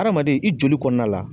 Hadamaden i joli kɔnɔna la.